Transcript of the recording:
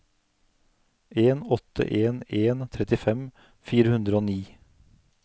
en åtte en en trettifem fire hundre og ni